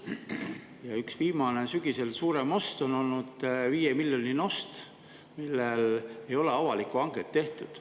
Sügisel on üks viimaseid suuremaid oste olnud viiemiljoniline ost, mille puhul ei ole avalikku hanget tehtud.